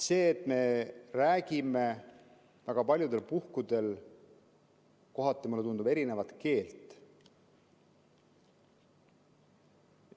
Me räägime väga paljudel puhkudel, kohati mulle tundub, erinevat keelt.